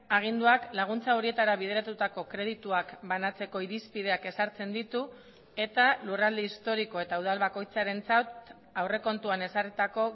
aginduak laguntza horietara bideratutako kredituak banatzeko irizpideak ezartzen ditu eta lurralde historiko eta udal bakoitzarentzat aurrekontuan ezarritako